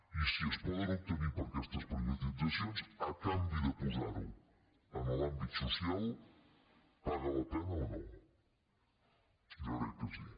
i si es poden obte·nir per aquestes privatitzacions a canvi de posar·ho en l’àmbit social paga la pena o no jo crec que sí